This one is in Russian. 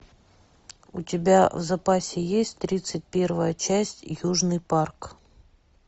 у тебя в запасе есть тридцать первая часть южный парк